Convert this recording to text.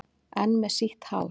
Enn með sítt hár.